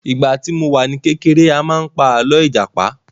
Ìgbà tí mo wà ní kékeré a máa pa àlọ́ ìjàpá